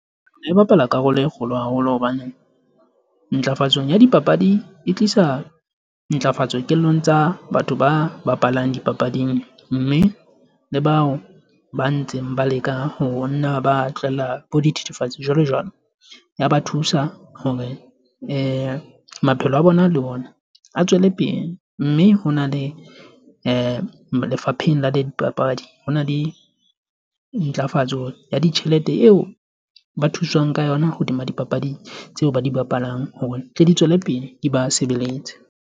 E bapala karolo e kgolo haholo hobane ntlafatsong ya dipapadi e tlisa ntlafatso kelellong tsa batho ba bapalang dipapading. Mme le bao ba ntseng ba leka ho nna ba tlwella bo dithethefatsi, jwalo jwalo. Ya ba thusa hore maphelo a bona le bona a tswele pele. Mme ho na le lefapheng la dipapadi. Ho na ntlafatso ya ditjhelete eo ba thuswang ka yona hodima dipapadi, tseo ba di bapalang hore tle di tswele pele di ba sebeletse.